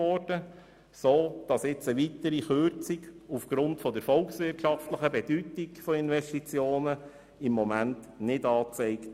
Im Moment ist eine Kürzung aufgrund der volkswirtschaftlichen Bedeutung von Investitionen nicht angezeigt.